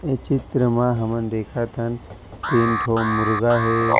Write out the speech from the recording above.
ये चित्र मा हमन देखत हन तीनठो मुर्गा हे।